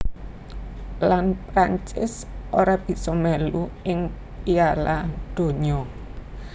Lan Prancis ora bisa melu ing Piala Donya